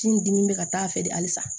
Kini dimi bɛ ka taa a fɛ de halisa